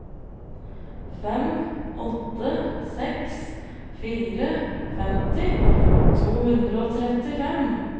fem åtte seks fire femti to hundre og trettifem